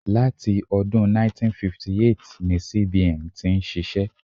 Láti ọdún 1958 ni CBN ti ń ṣiṣẹ́.